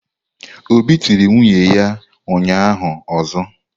Obi tiri nwunye ya ụnyahụ ọzọ.